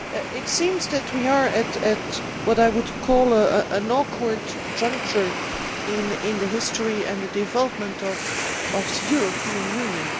It seems that we are at what I would call an awkward juncture in the history and the development of the European Union.